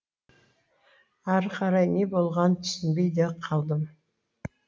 ары қарай не болғанын түсінбей де қалдым